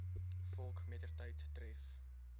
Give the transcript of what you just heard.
volk mettertyd tref